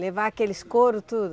Levar aqueles couro, tudo?